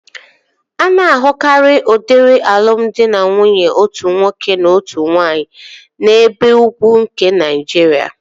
A na-ahụkarịa udiri alụmdi na nwunye otu nwoke na ọtụtụ nwaanyị n'ebe ugwu nke Naịjiria